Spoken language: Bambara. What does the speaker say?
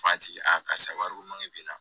F'a tigi a karisa wariko man ɲi